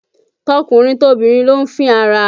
Tọkùnrin tobìnrin ló ń fín ara